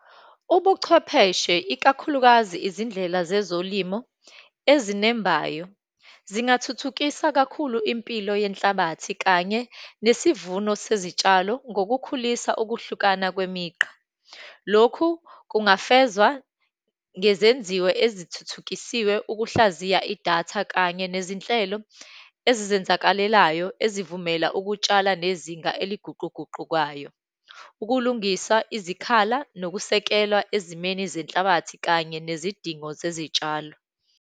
Ubuchwepheshe, ikakhulukazi izindlela zezolimo ezinembayo, zingathuthukisa kakhulu impilo yenhlabathi kanye nesivuno sezitshalo ngokukhulisa ukuhlukana kwemigqa. Lokhu kungafezwa ngezenziwo ezithuthukisiwe ukuhlaziya idatha, kanye nezinhlelo ezizenzakalelayo ezivumela ukutshala nezinga eliguquguqukayo, ukulungisa izikhala nokusekelwa ezimeni zenhlabathi, kanye nezidingo zezitshalo.